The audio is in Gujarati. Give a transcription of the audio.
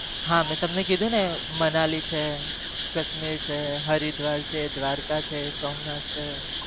હા મી તમને કીધું ને મનાલી છે કાશ્મીર છે હરિદ્વાર છે દ્વારકા છે સોમનાથ છે નેપાળ છે